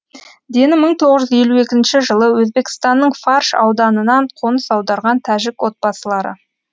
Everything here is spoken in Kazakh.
дені бір мың тоңыз жүзелу екінші жылы өзбекстанның фарш ауданынан қоныс аударған тәжік отбасылары